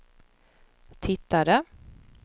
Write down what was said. tittade